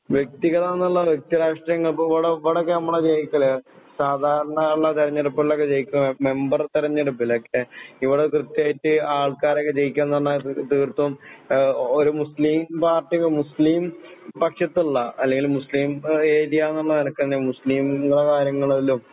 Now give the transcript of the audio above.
വ്യക്തികളാണെന്നുള്ള വ്യക്തിരാഷ്ട്രീയങ്ങൾ ഇപ്പോ ഇവടൊക്കെനമ്മള് ജയിക്കണ് സാധാരണള്ള തിരഞ്ഞെടുപ്പുകളിലൊക്കെ ജയിക്കും മെമ്പർ തെരഞ്ഞെടുപ്പിലൊക്കെ ഇവിടെ കൃത്യായിട്ട് ആൾക്കാരൊക്കെ ജയിക്കാന്നുപറഞ്ഞാല് തീർത്തും ഒരു മുസ്ലിം പാർട്ടി മുസ്ലിം പക്ഷത്തുള്ള അല്ലെങ്കില് മുസ്ലിം ഏരിയാന്നുള്ള നിലക്കാണു മുസ്ലിം